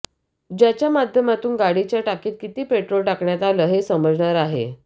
ज्याच्या माध्यमातून गाडीच्या टाकीत किती पेट्रोल टाकण्यात आलं हे समजणार आहे